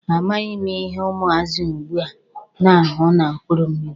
A maghị m ihe ụmụazị ugbua na-ahụ na mkpụrụ mmịrị.